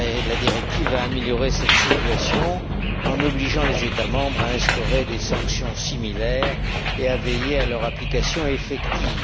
La directive a amélioré cette situation en obligeant les États membres à instaurer des sanctions similaires et à veiller à leur application effective.